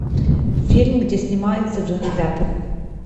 фильм где снимается джонни депп